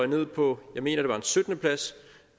ned på jeg mener det var en syttende plads